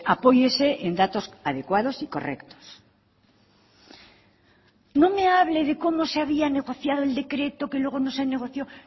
apóyese en datos adecuados y correctos no me hable de cómo se había negociado el decreto que luego no se negoció